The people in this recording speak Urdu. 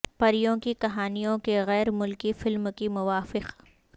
پریوں کی کہانیوں کے غیر ملکی فلم کی موافقت